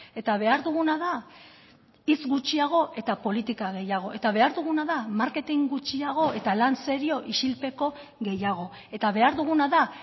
eta behar duguna da hitz gutxiago eta politika gehiago eta behar duguna da marketing gutxiago eta lan serio isilpeko gehiago eta behar duguna da